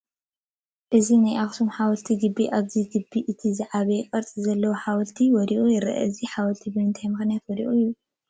እዚ ናይ ኣኽሱም ሓወልቲ ግቢ ኣብዚ ግቢ እቲ ዝዓበየ ቅርፂ ዘለዎ ሓወልቲ ወዲቑ ይርአ፡፡ እዚ ሓወልቲ ብምንታይ ምኽንያት ወዲቑ ይበሃል?